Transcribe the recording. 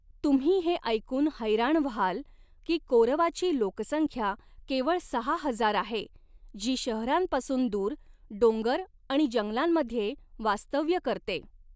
तुम्ही हे ऐकून हैराण व्हाल की कोऱवाची लोकसंख्या केवळ सहा हजार आहे, जी शहरांपासून दूर डोंगर आणि जंगलांमध्ये वास्तव्य करते.